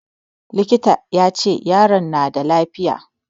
Likitan ya ce yaron na da lafiya.